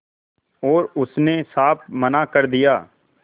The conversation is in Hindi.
और उसने साफ मना कर दिया